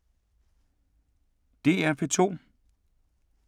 DR P2